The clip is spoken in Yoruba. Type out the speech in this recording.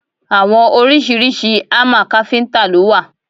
Àwọn oríṣiríṣi hámà káfíntà lo wà.